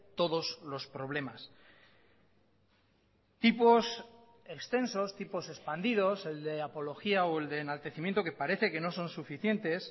todos los problemas tipos extensos tipos expandidos el de apología o el de enaltecimiento que parece que no son suficientes